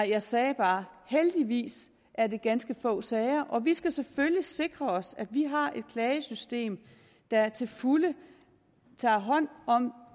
jeg sagde bare at heldigvis er det ganske få sager og vi skal selvfølgelig sikre os at vi har et klagesystem der til fulde tager hånd om